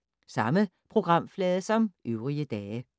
Samme programflade som øvrige dage